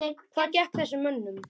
Hvað gekk að þessum mönnum?